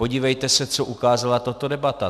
Podívejte se, co ukázala tato debata.